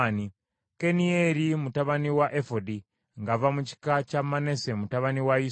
Kanieri mutabani wa Efodi ng’ava mu kika kya Manase mutabani wa Yusufu.